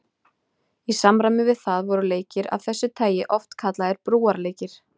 Í samræmi við það voru leikir af þessu tagi oft kallaðir brúarleikir.